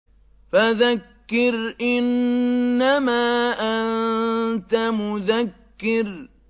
فَذَكِّرْ إِنَّمَا أَنتَ مُذَكِّرٌ